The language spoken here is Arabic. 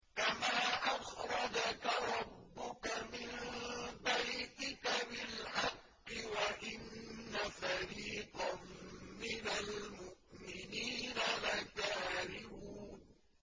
كَمَا أَخْرَجَكَ رَبُّكَ مِن بَيْتِكَ بِالْحَقِّ وَإِنَّ فَرِيقًا مِّنَ الْمُؤْمِنِينَ لَكَارِهُونَ